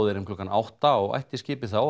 er um klukkan átta og ætti skipið þá að